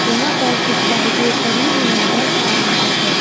यहां पर कुछ बाइकें खड़ी हुई नजर आ रही है।